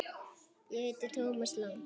Ég heiti Thomas Lang.